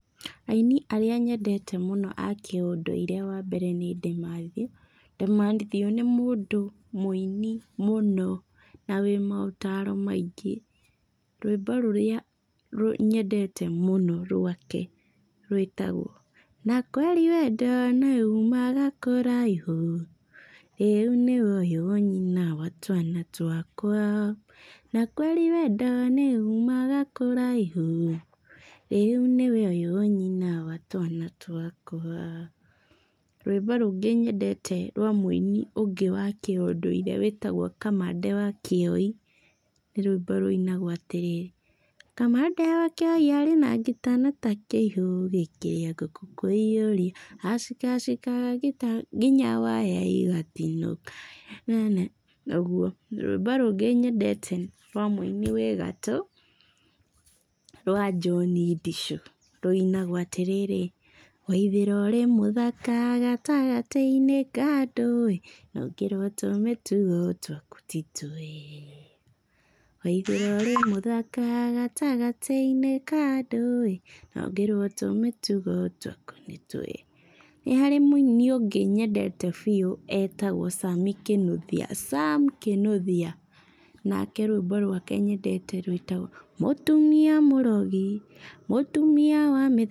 Aini arĩa nyendete muno a kĩũndũire wambere nĩ DeMathew, DeMathew nĩ mũndũ mũini mũno na wi maũtaro maingĩ, rwĩmbo rũrĩa nyendete mũno rwake rwĩtagwo, na kweri wendo nĩ umaga kũraihu rĩu nĩwe ũyũ nyina wa twana twakwa, na kweri wendo nĩ umaga kũraihu rĩu nĩwe ũyũ nyina wa twana twakwa, rwĩmbo rũngĩ nyendete rwa mũini ũngĩ wa kĩũndũire wĩtagwo Kamande wa Kĩoi nĩ rũimbo rũinagwo atĩrĩrĩ, Kamande wa Kĩoi arĩ na ngita no ta kĩihũ gĩkĩrĩa ngũkũ, kwĩiyũria acikacikaga ngita nginya waya igatinũka nene nene, ũguo. Rũimbo rũngĩ nyendete rwa mũini wĩ gatũ rwa John Ndichu, rũinagwo atĩrĩrĩ, Waithĩra ũrĩ mũthaka gatagatĩ-inĩ ka andũ na ũngĩrwo tũmĩtugo twaku nĩ twega, Waithĩra ũrĩ mũthaka gatagatĩ-inĩ ka andũ na ũngĩrwo tũmĩtugo twaku nĩ twega. Nĩ harĩ mũini ũngĩ nyendete biũ etagwo Sami Kinũthia, Sam Kinũthia. Nake rũimbo rwake nyendete rwĩtagwo, mũtumia mũrogi, mũtumia wa mĩthaiga.